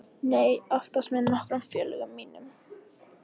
Nei, oftast með nokkrum félögum mínum.